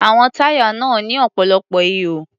Àwọn táyà náà ní ọ̀pọ̀lọpọ̀ ihò.